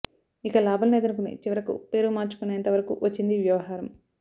ఇక లాభం లేదనుకుని చివరకు పేరు మార్చుకునేంత వరకు వచ్చింది వ్యవహారం